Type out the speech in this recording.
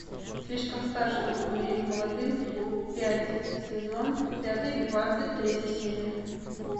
слишком стар чтобы умереть молодым пять сезон пятый двадцать третья серия